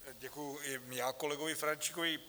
Děkuji i já kolegovi Ferjenčíkovi.